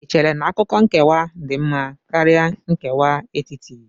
Ì chere na akụkụ nkewa dị mma karịa nkewa etiti?